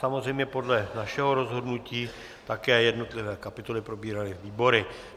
Samozřejmě podle našeho rozhodnutí také jednotlivé kapitoly probíraly výbory.